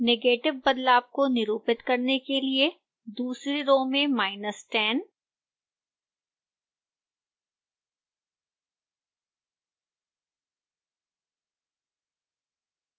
negative बदलाव को निरूपित करने के लिए दूसरी रो में 10